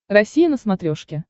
россия на смотрешке